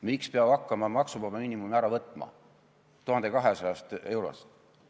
Miks peab hakkama maksuvaba miinimumi ära võtma alates 1200 eurost?